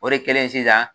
O de kɛlen sisan